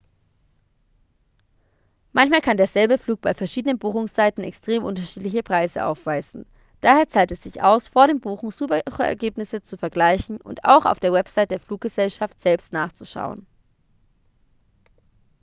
manchmal kann derselbe flug bei verschiedenen buchungsseiten extrem unterschiedliche preise aufweisen daher zahlt es sich aus vor dem buchen suchergebnisse zu vergleichen und auch auf der website der fluggesellschaft selbst nachzuschauen